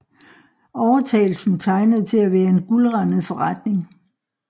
Overtagelsen tegnede til at være en guldrandet forretning